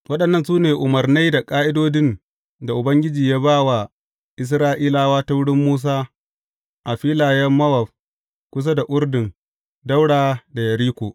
Waɗannan su ne umarnai da ƙa’idodin da Ubangiji ya ba wa Isra’ilawa ta wurin Musa, a filayen Mowab kusa da Urdun, ɗaura da Yeriko.